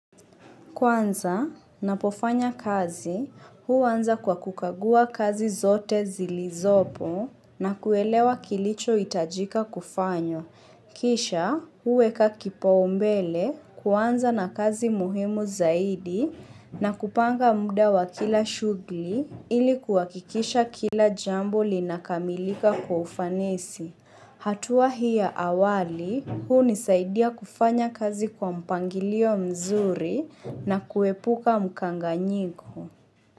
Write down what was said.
Kwanza, ninapofanya kazi, huanza kwa kukagua kazi zote zilizopo na kuelewa kilicho hitajika kufanywa. Kisha, huueka kipaumbele, kuanza na kazi muhimu zaidi na kupanga muda wa kila shughuli ili kuhakikisha kila jambo linakamilika kwa ufanisi. Hatua hii ya awali, huunisaidia kufanya kazi kwa mpangilio mzuri na kuepuka mkanganyigo.